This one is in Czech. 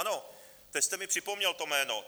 Ano, teď jste mi připomněl to jméno.